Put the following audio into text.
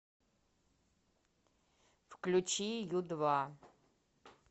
включи ю два